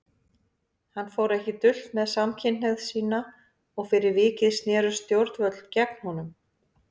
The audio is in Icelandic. Hann fór ekki dult með samkynhneigð sína og fyrir vikið snerust stjórnvöld gegn honum.